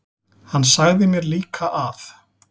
Hann sagði mér líka að